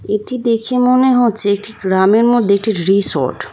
এটি দেখে মনে হচ্ছে একটি গ্রামের মধ্যে একটি রিসোর্ট ।